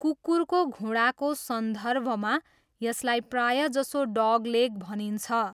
कुकुरको घुँडाको सन्दर्भमा यसलाई प्रायजसो 'डगलेग' भनिन्छ।